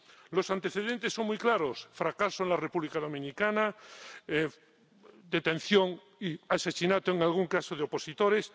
Los antecedentes son muy claros fracaso en la República Dominicana, detención y asesinato, en algún caso, de opositores.